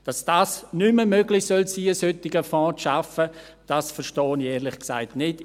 Dass es nicht mehr möglich sein soll, einen solchen Fonds zu schaffen, das verstehe ich ehrlich gesagt nicht.